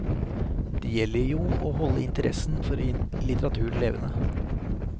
Det gjelder jo å holde interessen for litteraturen levende.